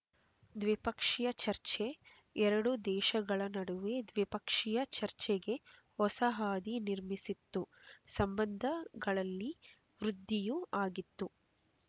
ದ್ವಿಪಕ್ಷೀಯ ಚರ್ಚೆ ಎರಡೂ ದೇಶಗಳ ನಡುವೆ ದ್ವಿಪಕ್ಷೀಯ ಚರ್ಚೆಗೆ ಹೊಸ ಹಾದಿ ನಿರ್ಮಿಸಿತ್ತು ಸಂಬಂಧಗಳಲ್ಲಿ ವೃದ್ಧಿಯೂ ಆಗಿತ್ತು